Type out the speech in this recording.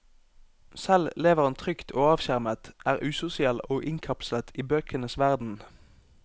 Selv lever han trygt og avskjermet, er usosial og innkapslet i bøkenes verden.